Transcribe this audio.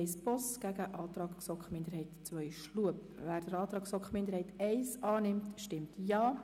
Wer den Antrag der GSoK-Minderheit I/Boss annimmt, stimmt Ja.